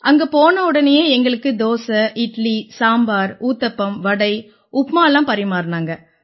அங்க போனவுடனேயே எங்களுக்கு தோசை இட்லி சாம்பார் ஊத்தப்பம் வடை உப்புமால்லாம் பரிமாறினாங்க